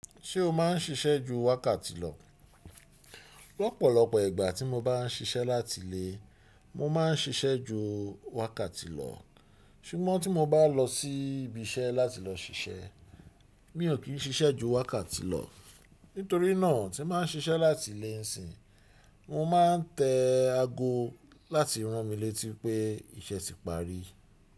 Ṣé o má ń siṣẹ́ ju wákàtí lọ? Lọ́pọ̀lọpọ̀ ìgbà tí mo bá ń siṣẹ́ láti ilé, mo ma ń siṣẹ́ ju wákàtí lọ, ṣùgbọ́n tí mo bá lọ sí ibi iṣẹ́ láti lọ siṣẹ́, mi ò kí ń siṣẹ́ ju wákàtí lọ. Nítorí náà tí ma ń siṣẹ́ láti ilé ń sìn, mo ma ń tẹ ago láti rán mi létí pé iṣẹ́ ti parí.